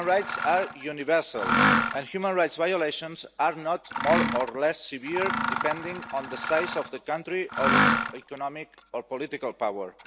Human rights are universal, and human rights violations are not more or less severe depending on the size of the country or its economic or political power.